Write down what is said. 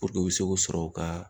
u bi se k'o sɔrɔ u ka